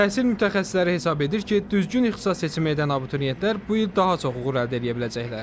Təhsil mütəxəssisləri hesab edir ki, düzgün ixtisas seçimi edən abituriyentlər bu il daha çox uğur əldə edə biləcəklər.